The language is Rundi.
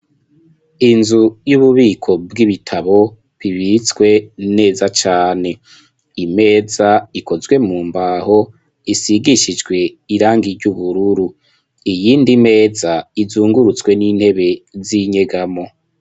Inzu yububiko bwibitabo bibitswe neza cane imeza ikozwe mu mbaho isigishijwe irangi ry'ubururu iyindi meza izungurutswe n'intebe z'inyegamo.